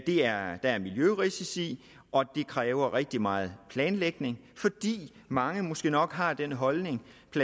der er miljørisici og det kræver rigtig meget planlægning fordi mange måske nok har den holdning